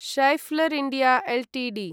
Schaeffler India Ltd